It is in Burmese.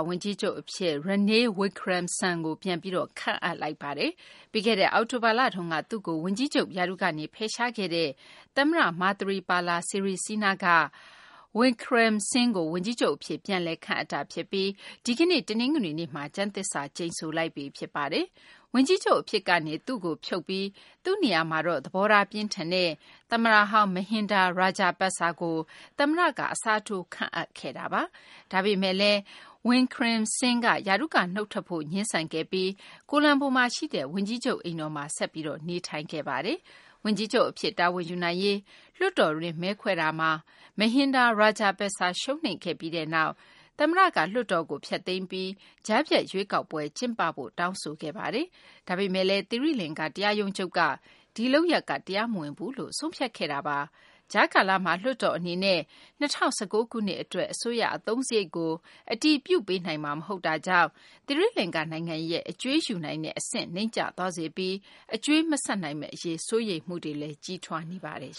ဝန်ကြီးချုပ် အဖြစ် Ranil Wickremesinghe ကို ပြန်ပြီး ခန့်အပ်လိုက်ပါတယ်။ ပြီးခဲ့တဲ့ အောက်တိုဘာလတုန်းက သူ့ကို ဝန်ကြီးချုပ်ရာထူးကနေ ဖယ်ရှားလိုက်တဲ့ သမ္မတ Maithripala Sirisena က Wickremesinghe ကို ဝန်ကြီးချုပ် အဖြစ် ပြန်လည် ခန့်အပ်တာ ဖြစ်ပြီး ဒီကနေ့ တနင်္ဂနွေနေ့မှာ ကျမ်းသစ္စာကျိန်ဆိုလိုက်ပြီ ဖြစ်ပါတယ်။ ဝန်ကြီးချုပ် အဖြစ်ကနေ Wickremesinghe ကို ဖြုတ်ပြီး သူ့နေရာမှာ သဘောထား ပြင်းထန်တဲ့ သမ္မတဟောင်း Mahinda Rajapaksa ကို သမ္မတက အစားထိုး ခန့်အပ်ခဲ့တာပါ။ ဒါပေမယ့်လည်း Wickremesinghe က ရာထူးက နုတ်ထွက်ဖို့ ငြင်းဆန်ခဲ့ပြီး ကိုလံဘိုမှာ ရှိတဲ့ ဝန်ကြီးချုပ် အိမ်တော်မှာ ဆက်ပြီး နေထိုင်ခဲ့တာပါ။ ဝန်ကြီးချုပ် အဖြစ် တာဝန်ယူနိုင်ရေး လွှတ်တော်တွင်း မဲခွဲခဲ့တာမှာ Mahinda Rajapaksa က ရှုံးနိမ့်ခဲ့ပြီးနောက် သမ္မတက လွှတ်တော်ကို ဖျက်သိမ်းလိုက်ပြီး ကြားဖြတ် ရွေးကောက်ပွဲ ကျင်းပဖို့ တောင်းဆိုခဲ့ပါတယ်။ ဒါပေမယ့် သီရိလင်္ကာ တရားရုံးချုပ်က ဒီလုပ်ရပ်က တရားမဝင်ဘူးလို့ ဆုံးဖြတ်ခဲ့တာပါ။ ကြားကာလမှာ လွှတ်တော် အနေနဲ့ ၂၀၁၉ ခုနှစ် အတွက် အစိုးရ အသုံးစာရိတ်ကို အတည်ပြုပေးနိုင်မှာ မဟုတ်တာကြောင့် သီရိလင်္ကာ နိုင်ငံရဲ့ အကြွေးယူနိုင်တဲ့ အဆင့်အတန်း နိမ့်ကျသွားစေပြီး အကြွေးမဆပ်နိုင်မယ့် အရေး စိုးရိမ်မှုတွေလည်း ကြီးထွားလာနေပါတယ်